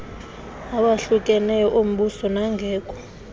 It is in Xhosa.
awahlukeneyo ombuso nangekho